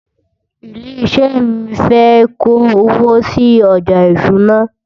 ilé iṣé mí fé kò owó sí ọjà ìṣúná